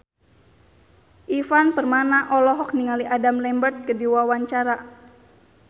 Ivan Permana olohok ningali Adam Lambert keur diwawancara